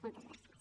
moltes gràcies